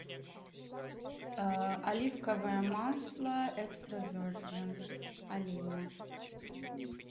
оливковое масло экстра верджин олейна